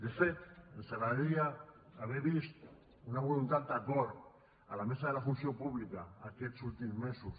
de fet ens agradaria haver vist una voluntat d’acord a la mesa de la funció pública aquests últims mesos